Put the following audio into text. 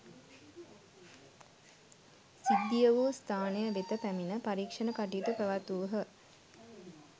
සිද්ධිය වූ ස්‌ථානය වෙත පැමිණ පරීක්‍ෂණ කටයුතු පැවැත්වූහ.